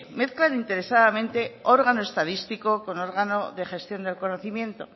mezclan interesadamente órgano estadístico con órgano de gestión del conocimiento